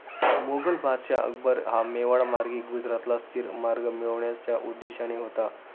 मोघल बादशाह अकबर हा मेवाड मार्गे गुजरातला स्थिर मार्ग मिळवण्याच्या उद्देशाने होता.